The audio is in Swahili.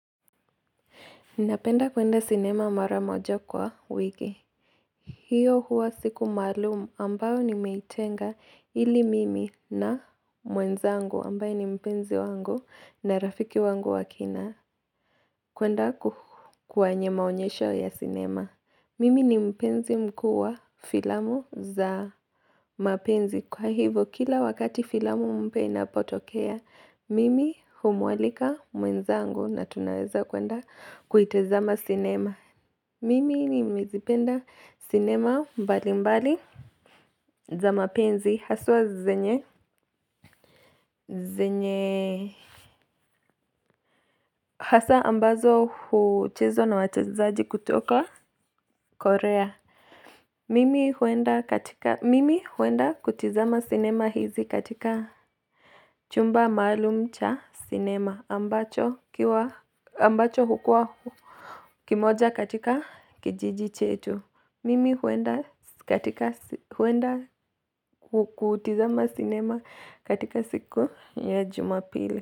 Ninapenda kwenda sinema mara moja kwa wiki. Hiyo huwa siku maalumu ambayo nimeitenga ili mimi na mwenzangu ambaye ni mpenzi wangu na rafiki wangu wa kina. Kwenda kwenye maonyesho ya sinema. Mimi ni mpenzi mkuu wa filamu za mapenzi. Kwa hivo kila wakati filamu mpya inapotokea mimi humualika mwenzangu na tunaweza kwenda kuitazama sinema mimi nimezipenda sinema mbali mbali. Za mapenzi haswa zenye Zenye Hasa ambazo huchezwa na wachezaji kutoka Korea. Mimi huenda kutizama sinema hizi katika chumba maalum cha sinema ambacho hukua kimoja katika kijiji chetu. Mimi huenda katika huenda kutizama sinema katika siku ya jumapili.